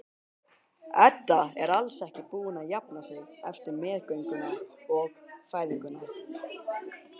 Edda er alls ekki búin að jafna sig eftir meðgönguna og fæðinguna.